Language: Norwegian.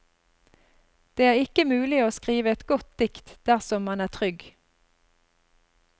Det er ikke mulig å skrive et godt dikt dersom man er trygg.